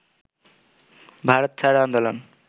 ভারত ছাড় আন্দোলন